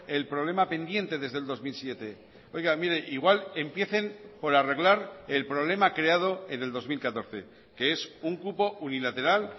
el problema pendiente desde el dos mil siete oiga mire igual empiecen por arreglar el problema creado en el dos mil catorce que es un cupo unilateral